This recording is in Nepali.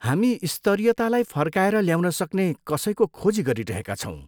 हामी स्तरीयतालाई फर्काएर ल्याउन सक्ने कसैको खोजी गरिरहेका छौँ।